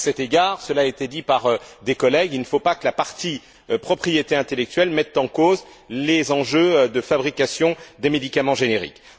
À cet égard cela a été dit par des collègues il ne faut pas que la partie propriété intellectuelle mette en cause les enjeux de fabrication des médicaments génériques.